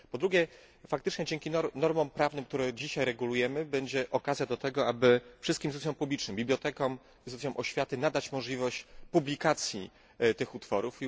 Po drugie, faktycznie dzięki normom prawnym, które dzisiaj regulujemy, będzie okazja do tego, aby wszystkim instytucjom publicznym, bibliotekom, instytucjom oświaty, nadać możliwość publikacji tych utworów.